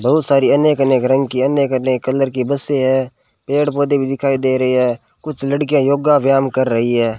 बहुत सारी अनेक अनेक रंग की अन्य करने कलर की बसे है पेड़ पौधे भी दिखाई दे रही है कुछ लड़कियां योग व्यायाम कर रही है।